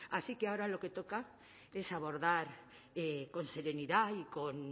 así que ahora lo que toca es abordar con serenidad y con